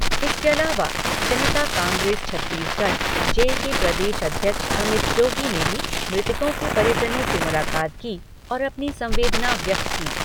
इसके अलावा जनता कांग्रेस छत्तीसगढ़ जे के प्रदेश अध्यक्ष अमित जोगी ने भी मृतकों के परिजनों से मुलाकात की और अपनी संवेदना व्यक्त की।